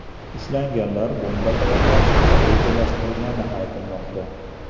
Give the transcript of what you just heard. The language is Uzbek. Ushlanganlar bomba tayyorlashni rejalashtirgani aytilmoqda.